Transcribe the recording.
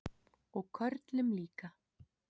Og körlum líka.